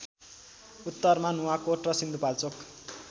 उत्तरमा नुवाकोट र सिन्धुपाल्चोक